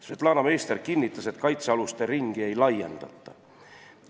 Svetlana Meister kinnitas, et kaitsealuste ringi ei laiendata.